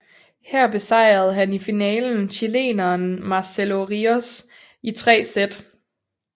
Her besejrede han i finalen chileneren Marcelo Ríos i 3 sæt